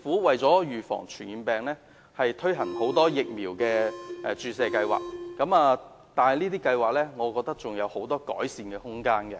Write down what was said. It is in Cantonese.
為了預防傳染病，政府推行了很多疫苗注射計劃，但我認為這些計劃還有很多改善的空間。